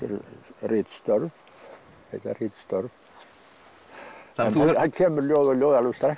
ritstörf heita ritstörf en það kemur ljóð og ljóð alveg strax